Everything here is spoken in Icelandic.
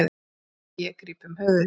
Og ég gríp um höfuðið.